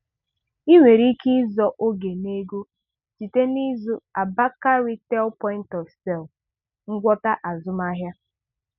Ị nwere Ike ịzọ oge na ego site ná ịzụ Abacre Retail Point of Sale ngwọta azụmahịa.